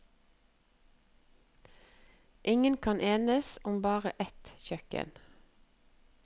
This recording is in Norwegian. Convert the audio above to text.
Ingen kan enes om bare ett kjøkken.